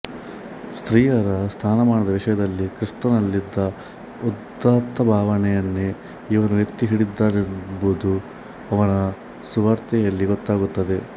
ಸ್ತ್ರೀಯರ ಸ್ಥಾನಮಾನದ ವಿಷಯದಲ್ಲಿ ಕ್ರಿಸ್ತನಲ್ಲಿ ಇದ್ದ ಉದಾತ್ತಭಾವನೆಯನ್ನೇ ಇವನೂ ಎತ್ತಿ ಹಿಡಿದಿದ್ದಾನೆಂಬುದು ಅವನ ಸುವಾರ್ತೆಯಲ್ಲಿ ಗೊತ್ತಾಗುತ್ತದೆ